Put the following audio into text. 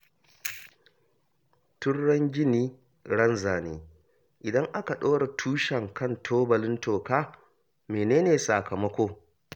Tun ran gini, ran zane; idan aka ɗora tushen kan tubalin toka, mene ne sakamako?